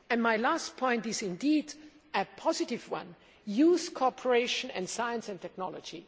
My last point is indeed a positive one youth cooperation in science and technology.